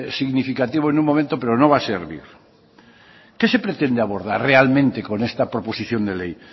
significativo en un momento pero no va a servir qué se pretende abordar realmente con esta proposición de ley